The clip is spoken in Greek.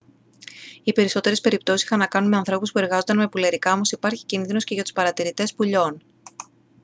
οι περισσότερες περιπτώσεις είχαν να κάνουν με ανθρώπους που εργάζονταν με πουλερικά όμως υπάρχει κίνδυνος και για τους παρατηρητές πουλιών